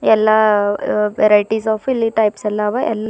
ಎಲ್ಲ varieties of ಇಲ್ಲಿ types ಎಲ್ಲ ಅವ.